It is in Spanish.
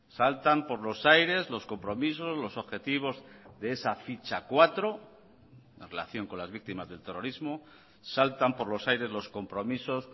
saltan por los aires los compromisos los objetivos de esa ficha cuatro en relación con las víctimas del terrorismo saltan por los aires los compromisos